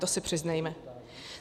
To si přiznejme.